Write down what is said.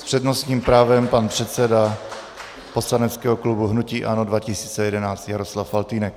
S přednostním právem pan předseda poslaneckého klubu hnutí ANO 2011 Jaroslav Faltýnek.